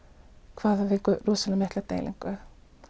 hvað við fengum rosalega mikla deilingu